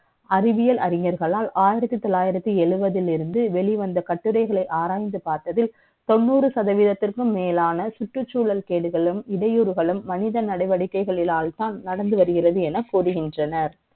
அறிவியல் அறிஞர்களால், ஆயிரத்தி த ொள்ளாயிரத்தி எழுவதில் வெ ளிவந்த கட்டுரை களை ஆராய்ந்து பார்த்ததில், த ொண்ணூறு சதவதீ த்திற்கும் மே லான, சுற்றுச்சூழல் கே டுகளும், இடை யூறுகளும், மனித நடவடிக்கை களினால்தான், நடந்து வருகிறது என கூறுகின்றனர்.